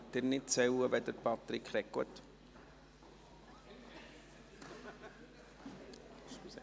Sie können nicht zählen, wenn Patrick Freudiger spricht?